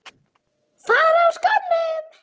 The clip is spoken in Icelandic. Fara úr skónum.